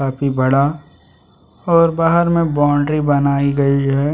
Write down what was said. काफी बड़ा और बाहर में बाउंड्री बनायी गयी है ।